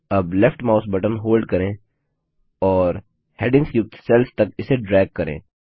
अब left mouse button hold करें और हैडिंग्स युक्त सेल्स तक इसे ड्रैग करें